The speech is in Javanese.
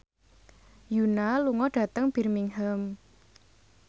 Yoona lunga dhateng Birmingham